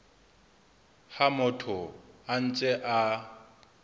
ha motho a ntse a